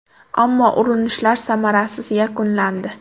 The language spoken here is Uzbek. Ammo urunishlar samarasiz yakunlandi.